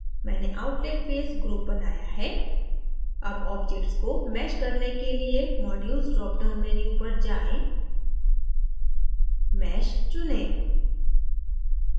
मैंने outlet face group बनाया है अब object को mesh करने के लिए modules dropdown menu पर जाएँ mesh चुनें